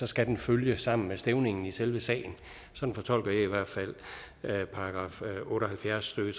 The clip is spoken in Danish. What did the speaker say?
skal den følge sammen med stævningen i selve sagen sådan fortolker jeg i hvert fald § otte og halvfjerds stykke